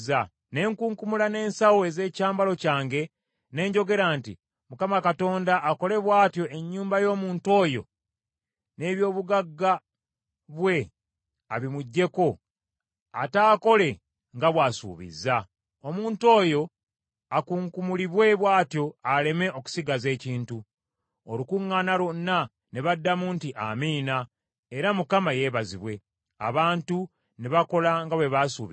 Ne nkunkumula ne nsawo ez’ekyambalo kyange ne njogera nti, “ Mukama Katonda akole bw’atyo ennyumba y’omuntu oyo, n’eby’obugagga bwe abimuggyeko, ataakole nga bw’asuubizza. Omuntu oyo akunkumulibwe bw’atyo aleme okusigaza ekintu!” Olukuŋŋaana lwonna ne baddamu nti, “Amiina, era Mukama yeebazibwe.” Abantu ne bakola nga bwe baasuubiza.